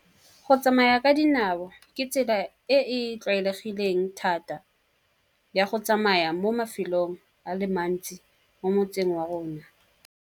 Go tsamaya ka dinao ke tsela e e tlwaelegileng thata ya go tsamaya mo mafelong, a le mantsi mo motseng wa rona.